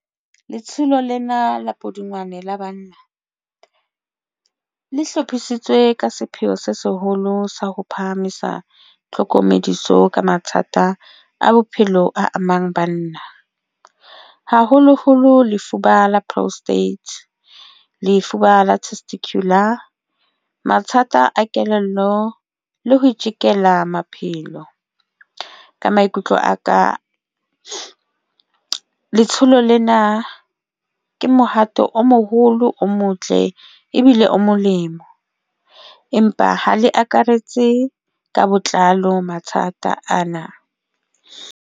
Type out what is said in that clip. Letsholo lena la Pudungwane la banna le hlophisitswe ka sepheo se seholo sa ho phahamisa tlhokomediso ka mathata a bophelo a amang banna, haholoholo lefuba la prostate s lefuba la testicular, mathata a kelello le ho itekela maphelo ka maikutlo a ka. Letsholo lena ke mohato o moholo o motle ebile o molemo, empa ha le akaretse ka botlalo mathata ana.